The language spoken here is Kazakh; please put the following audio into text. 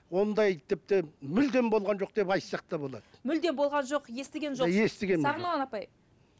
ондай тіпті мүлдем болған жоқ деп айтсақ та болады мүлде болған жоқ естіген жоқсыз